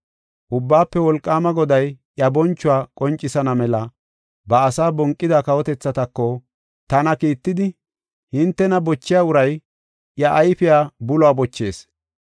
Ubbaafe Wolqaama Goday iya bonchuwa qoncisana mela, ba asaa bonqida kawotethatako tana kiittidi, “Hintena bochiya uray iya ayfiya buluwa bochees.